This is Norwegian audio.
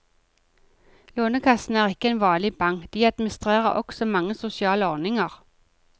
Lånekassen er ikke en vanlig bank, de administrerer også mange sosiale ordninger.